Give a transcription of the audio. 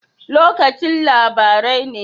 Lokacin labarai ne?